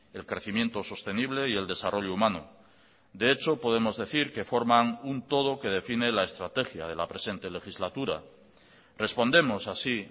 el crecimiento sostenible y el desarrollo humano de hecho podemos decir que forman un todo que define la estrategia de la presente legislatura respondemos así